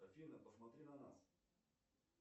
афина посмотри на нас